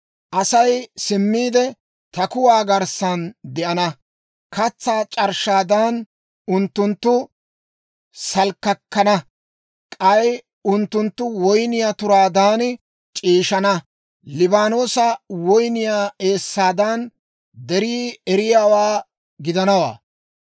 Asay simmiide, ta kuwaa garssan de'ana; katsaa c'arshshaadan, unttunttu salkkisalkkana; k'ay unttunttu woyniyaa turaadan c'iishshaana; Liibaanoosa woyniyaa eessaadan, derii eriyaawaa gidanawaa.